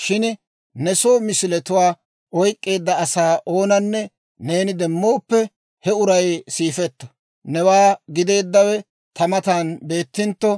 Shin ne soo misiletuwaa oyk'k'eedda asaa oonanne neeni demmooppe, he uray siifetto! Newaa gideeddawe ta matan beettintto,